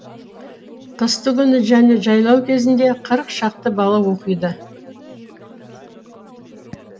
қыстыгүні және жайлау кезінде қырық шақты бала оқиды